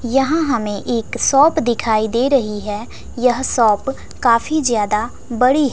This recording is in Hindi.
यहां हमें एक सॉप दिखाई दे रही है यह सॉप काफी ज्यादा बड़ी--